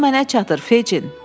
Pul mənə çatır Feçin.